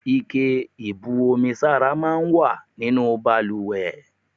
Ike ìbu omi sára máa ń wà nínú bàlùwẹ̀.